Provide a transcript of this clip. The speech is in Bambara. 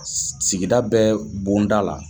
Sigida bɛɛ bonda la.